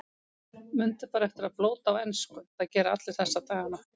Mundu bara eftir að blóta á ensku, það gera allir þessa dagana.